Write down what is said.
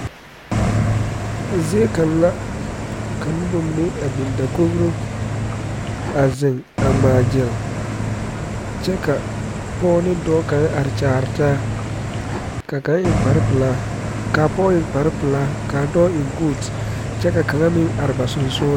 Zie kaŋ la ka noba mine a biŋ dakogro a zeŋ a ŋmaa gyile kyɛ ka pɔge ne dɔɔ kaŋ are kyaare taa ka kaŋ eŋ kpar pelaa kaa pɔge eŋ kpar pelaa kaa dɔɔ eŋ kɔɔte kyɛ ka kaŋa are ba sogaŋ